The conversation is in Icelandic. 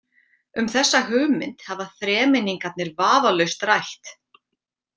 Um þessa hugmynd hafa þremenningarnir vafalaust rætt.